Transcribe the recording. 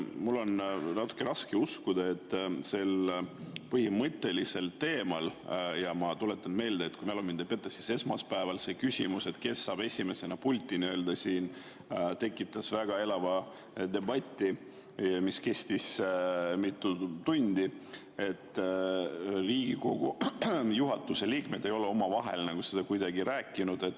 Mul on natuke raske uskuda, et sel põhimõttelisel teemal – ma tuletan meelde ja kui mälu mind ei peta, siis esmaspäeval küsimus, kes saab esimesena pulti, tekitas siin väga elava debati, mis kestis mitu tundi – Riigikogu juhatuse liikmed ei ole omavahel kuidagi rääkinud.